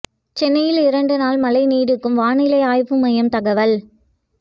சென்னையில் இரண்டு நாள் மழை நீடிக்கும் வானிலை ஆய்வு மையம் தகவல்